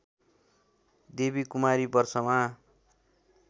देवी कुमारी वर्षमा